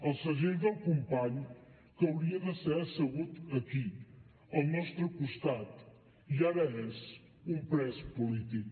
el segell del company que hauria de ser assegut aquí al nostre costat i ara és un pres polític